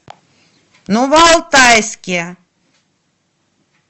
новоалтайске